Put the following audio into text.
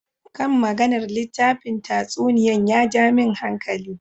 Kan maganar littafin tatsuniyan ya ja min hankali.